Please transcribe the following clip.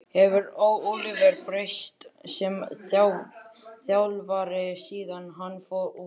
Hefur Ólafur breyst sem þjálfari síðan hann fór út?